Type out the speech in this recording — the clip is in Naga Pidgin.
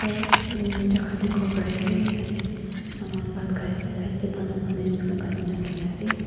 jagah dekhi bo Parise tarte koi no bhat khaise side te banana leaf kati kina ase.